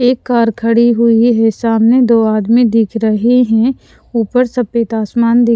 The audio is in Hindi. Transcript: एक कार खड़ी हुई है सामने दो आदमी दिख रहे हैं ऊपर सफेद आसमान--